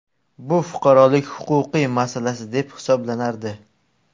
Bu fuqarolik-huquqiy masalasi deb hisoblanardi.